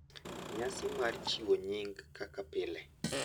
Nyasi mar chiwo nying kaka pile,